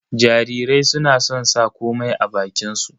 Jarirai suna son sa komai a bakin su